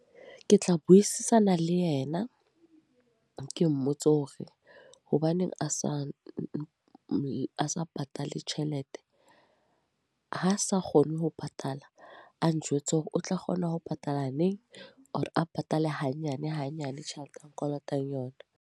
Ke tla buisana le yena. Ke mmotse hore hobaneng a sa patale tjhelete. Ha sa kgone ho patala. A njwetse hore o tla kgona ho patala neng. Or a patale hanyane hanyane tjhelete a nkolotang yona.